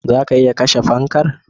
Zaka iya kashe fankar